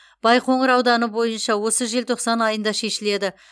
байқоңыр ауданы бойынша осы желтоқсан айында шешіледі